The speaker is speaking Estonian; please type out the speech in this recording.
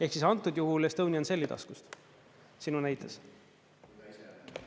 Ehk siis antud juhul Estonian Celli taskust sinu näites.